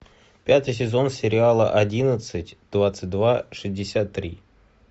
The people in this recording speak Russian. пятый сезон сериала одиннадцать двадцать два шестьдесят три